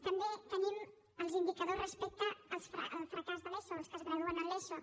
també tenim els indicadors respecte al fracàs de l’eso els que es graduen en l’eso